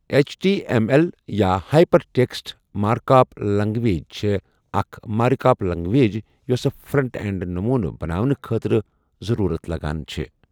H T M L یا hypertext markup language چھۓ اکھ مارِکاپ لینگویج یۄس فرنٹ اینڈ نٔموٗنہٕ بَناوُنٟ کھترٕ زرورتھ لگان چھے۔